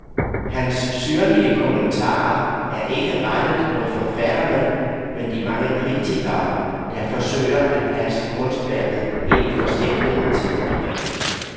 Hans syrlige kommentarer er ikke rettet mod forfatterne, men de mange kritikere, der forsøger at passe kunstværket ind i forsimplende teorier.